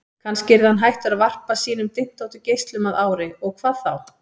Kannski yrði hann hættur að varpa sínum dyntóttu geislum að ári, og hvað þá?